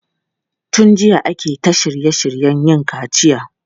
Tun jiya ake ta shirye shiryen yin kaciya.